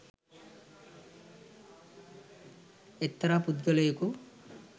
එක්තරා පුද්ගලයෙකු